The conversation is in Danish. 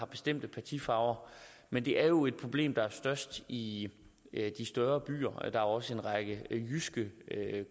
bestemt partifarve men det er jo et problem der er størst i de større byer der er også en række jyske